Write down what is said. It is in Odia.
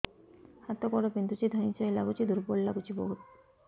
ହାତ ଗୋଡ ବିନ୍ଧୁଛି ଧଇଁସଇଁ ଲାଗୁଚି ଦୁର୍ବଳ ଲାଗୁଚି ବହୁତ